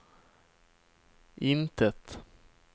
intet